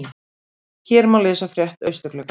Hér má lesa frétt Austurgluggans